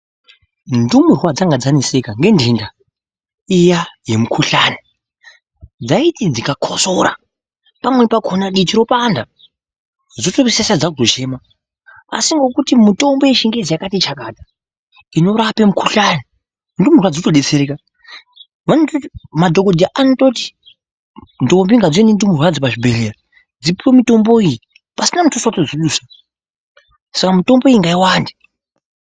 Ndumurwa dzanga dzaneseka ngenthenda, iya yemukhuhlani, dzaiti dzikakotsora, pamweni pakhona, diti ropanda, dzopedzisira dzaakutochema. Asi ngekuti mitombo yechingezi yakati chakata, inorape mukhuhlani, ndumurwa dzotodetsereka. Madhokodheya anototi, ndombi ngadziuye nendumurwa yadzo pazvibhedhleya, dzipuwe mitombo iyi, pasina muthuso wedzinodusa, saka mitombo iyi ngaiwande.